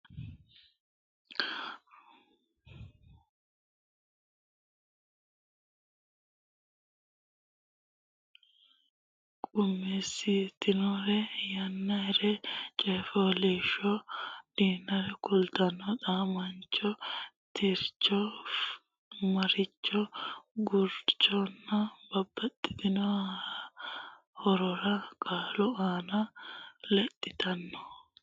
Rossannohuno aane noore ikkara dandaanno Su munnire gurdunnire su mi ledaanchunnire gurdi ledaanchunnirenna xaadisaanonnire Leellishaanonnire qummisaanonnire yannannire Coy fooliishsho danire kulaancho xa maancho tircho marcho gurdancho Babbaxxitino horora qaalu aana lexxitanno.